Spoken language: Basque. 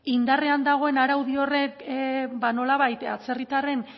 indarrean dagoen araudi horrek nolabait atzerritarren